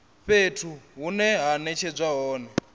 fhethu hune ha netshedzwa hone